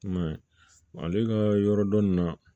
I m'a ye ale ka yɔrɔ dɔn nin na